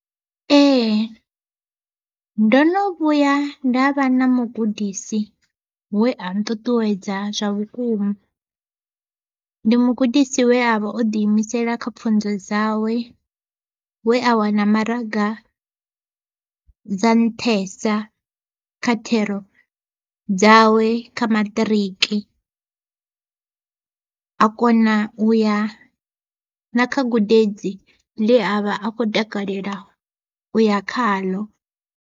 Ee ndo no vhuya nda vha na mugudisi we a nṱuṱuwedza zwa vhukuma, ndi mugudisi we avha o ḓi imisela kha pfunzo dzawe we a wana maraga dza nṱhesa kha thero dzawe kha maṱiriki. A kona u ya na kha gudedzi ḽe avha a kho takalela uya khaḽo.